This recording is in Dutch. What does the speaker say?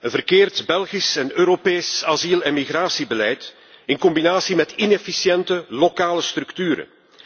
Een verkeerd Belgisch en Europees asiel en migratiebeleid in combinatie met inefficiënte lokale structuren.